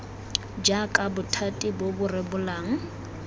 jaaka bothati bo bo rebolang